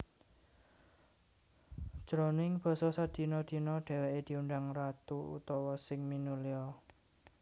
Jroning basa sadina dina dhèwèké diundang Ratu utawa Sing Minulya